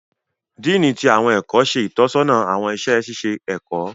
Dean ti awọn ẹkọ ṣe itọsọna awọn iṣẹ ṣiṣe ẹkọ.